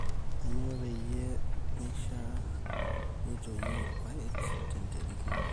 kainyioo peyie meishiaa neitoyi irr`paek tenterit narok